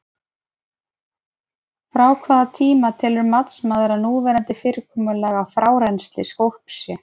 Frá hvaða tíma telur matsmaður að núverandi fyrirkomulag á frárennsli skolps sé?